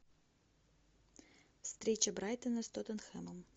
встреча брайтона с тоттенхэмом